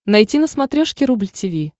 найти на смотрешке рубль ти ви